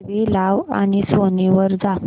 TV लाव आणि Sony वर जा